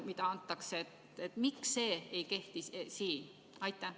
Miks see põhimõte ei kehti siin?